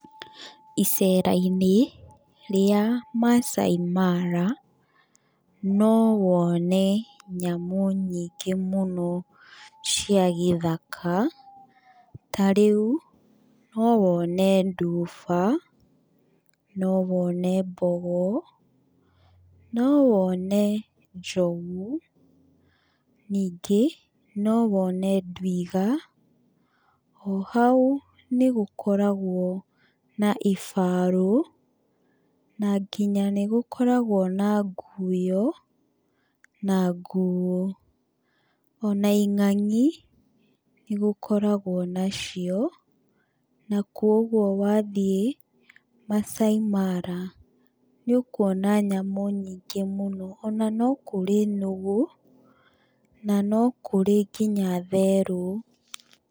Icera-inĩ rĩa Maasai Mara no wone nyamũ nyingĩ mũno cia gĩthaka, tarĩu no wone nduba, no wone, mbogo, no wone njogu, ningĩ no wone ndwiga, o hau nĩgũkoragwo na ibarũ, na nginya nĩ gũkoragwo na nguyo, na nguũ. Ona ing'ang'i nĩ gũkoragwo nacio na kuũguo wathiĩ Maasai Mara nĩ ũkuona nyamũ nyingĩ mũno. Ona no kũrĩ nũgũ, na no kũrĩ nginya therũ.